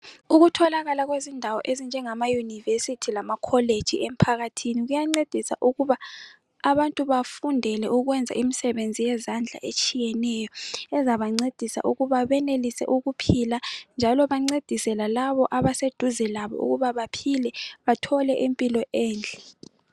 Ukutholakala kwezindawo ezinjengama university lama college emphakathini kuyancedisa ukuba abantu bafundele ukwenza imisebenzi yezandla etshiyeneyo ezabancedisa ukuba benelise ukuphila njalo bancedise lalabo abaseduze labo ukuba baphile bathole impilo enhle.